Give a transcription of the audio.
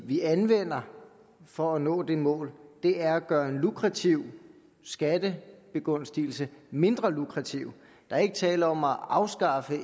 vi anvender for at nå det mål er at gøre en lukrativ skattebegunstigelse mindre lukrativ der er ikke tale om at afskaffe